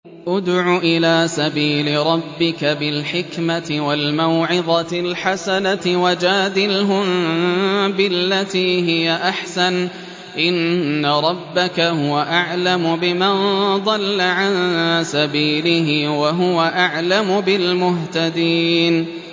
ادْعُ إِلَىٰ سَبِيلِ رَبِّكَ بِالْحِكْمَةِ وَالْمَوْعِظَةِ الْحَسَنَةِ ۖ وَجَادِلْهُم بِالَّتِي هِيَ أَحْسَنُ ۚ إِنَّ رَبَّكَ هُوَ أَعْلَمُ بِمَن ضَلَّ عَن سَبِيلِهِ ۖ وَهُوَ أَعْلَمُ بِالْمُهْتَدِينَ